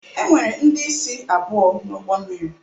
Enwere ndị isi abụọ na ụgbọ mmiri a